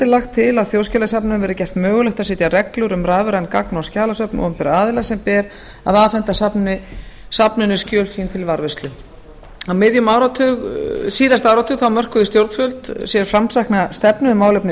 lagt til að þjóðskjalasafninu verði gert mögulegt að setja reglur um rafræn gagna og skjalasöfn opinberra aðila sem ber að afhenda safninu skjöl sín til varðveislu á miðjum síðasta áratug mörkuðu stjórnvöld sér framsækna stefnu um málefni